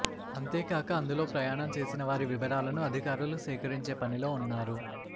అంతేకాక అందులో ప్రయాణం చేసిన వారి వివరాలను అధికారులు సేకరించే పని లో ఉన్నారు